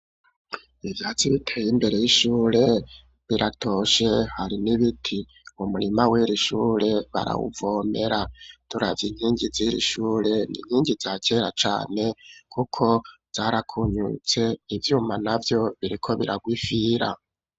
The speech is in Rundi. Ivyatsi biteye imbere y'ishure biratoshe, hari n'ibiti ,umurima w'irishure barawuvomera ,turavye inkingi z'irishure ninkingi za kera cane ,kuko yarakunyutse ivyuma navyo biriko biragwifira.